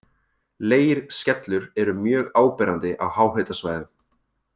Leirskellur eru mjög áberandi á háhitasvæðum.